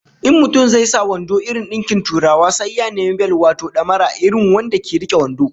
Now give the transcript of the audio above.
In mutum zai sa wando irin dinkin Turawa sai ya nemi bel wato damara irin wanda ke rike wando